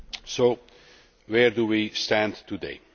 So where do we stand today?